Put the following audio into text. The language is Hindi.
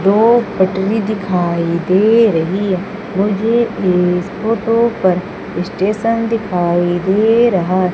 दो पटरी दिखाई दे रही मुझे इस फोटो पर स्टेशन दिखाई दे रहा --